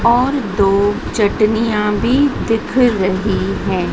और दो चटनियां भी दिख रही है।